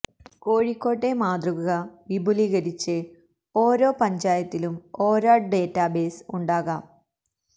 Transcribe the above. കോഴിക്കോടെ മാതൃക വിപുലീകരിച്ച് ഓരോ പഞ്ചായത്തിലും ഓരോ ഡേറ്റ ബേസ് ഉണ്ടാകാം